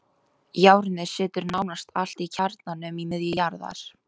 Járnið situr nánast allt í kjarnanum í miðju jarðar.